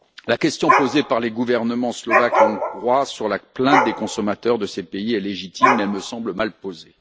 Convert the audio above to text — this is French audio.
La question posée par les gouvernements slovaque et hongrois sur la plainte des consommateurs de ces pays est légitime, mais elle me semble mal posée.